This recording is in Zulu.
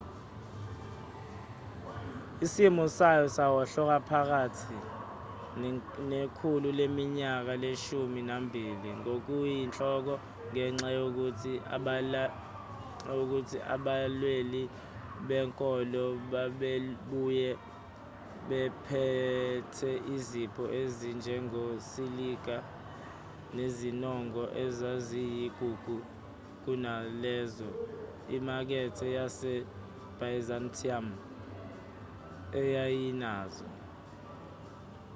isimo sayo sawohloka phakathi nekhulu leminyaka leshumi nambili ngokuyinhloko ngenxa yokuthi abalweli benkolo babebuye bephethe izipho ezinjengosilika nezinongo ezaziyigugu kunalezo imakethe yasebyzantium eyayinazo